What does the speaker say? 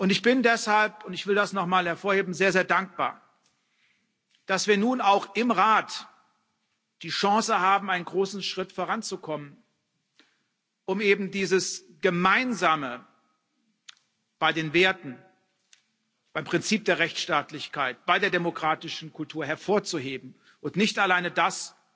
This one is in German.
Ich bin deshalb und ich will das noch mal hervorheben sehr, sehr dankbar, dass wir nun auch im Rat die Chance haben, einen großen Schritt voranzukommen, um eben dieses Gemeinsame bei den Werten, beim Prinzip der Rechtsstaatlichkeit, bei der demokratischen Kultur hervorzuheben und nicht alleine das,